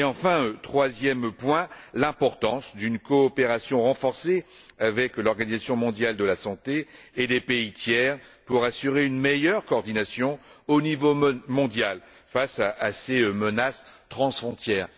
Enfin, troisième point, l'importance d'une coopération renforcée avec l'Organisation mondiale de la santé et les pays tiers pour assurer une meilleure coordination au niveau mondial, face à ces menaces transfrontières.